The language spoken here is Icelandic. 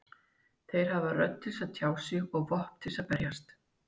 Þeir hafa rödd til að tjá sig og vopn til að verjast.